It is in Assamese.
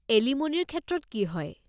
এলিম'নিৰ ক্ষেত্ৰত কি হয়?